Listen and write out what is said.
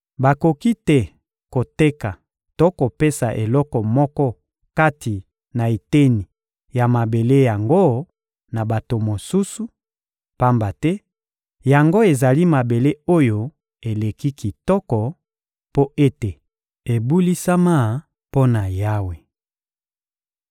Bakoki te koteka to kopesa eloko moko kati na eteni ya mabele yango na bato mosusu, pamba te yango ezali mabele oyo eleki kitoko, mpo ete ebulisama mpo na Yawe.